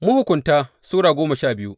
Mahukunta Sura goma sha biyu